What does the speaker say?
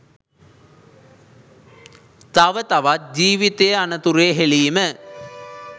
තව තවත් ජීවිතය අනතුරේ හෙලීම